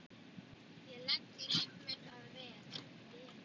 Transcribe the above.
Ég legg líf mitt að veði.